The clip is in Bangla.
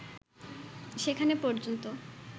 সেখানে পর্যন্ত